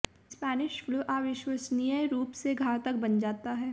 Spanish flu अविश्वसनीय रूप से घातक बन जाता है